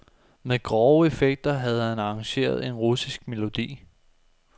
Med grove effekter havde han arrangeret en russisk melodi.